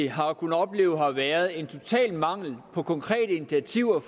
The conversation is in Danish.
har kunnet opleve har været en total mangel på konkrete initiativer